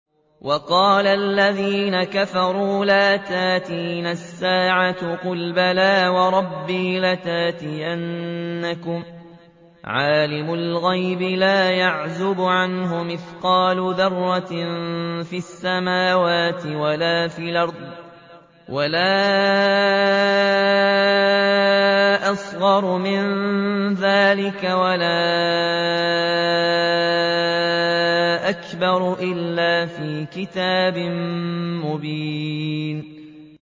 وَقَالَ الَّذِينَ كَفَرُوا لَا تَأْتِينَا السَّاعَةُ ۖ قُلْ بَلَىٰ وَرَبِّي لَتَأْتِيَنَّكُمْ عَالِمِ الْغَيْبِ ۖ لَا يَعْزُبُ عَنْهُ مِثْقَالُ ذَرَّةٍ فِي السَّمَاوَاتِ وَلَا فِي الْأَرْضِ وَلَا أَصْغَرُ مِن ذَٰلِكَ وَلَا أَكْبَرُ إِلَّا فِي كِتَابٍ مُّبِينٍ